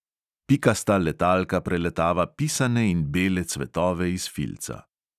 Pikasta letalka preletava pisane in bele cvetove iz filca.